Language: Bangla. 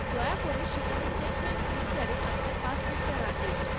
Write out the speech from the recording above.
দয়া করে সেখানে স্টেটমেন্ট প্রিন্টারে আপনার পাসবুকটা রাখবেন।